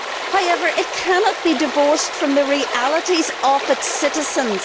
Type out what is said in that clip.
However, it cannot be divorced from the realities of its citizens.